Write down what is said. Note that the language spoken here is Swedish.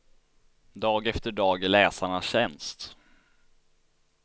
Dag efter dag i läsarnas tjänst.